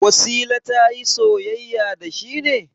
Wasila ta yi soyayya da shi ne?